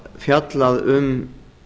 fjallað um